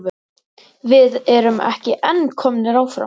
Við erum ekki en komnir áfram?